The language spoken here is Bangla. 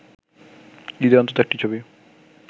ঈদে অন্তত একটি ছবি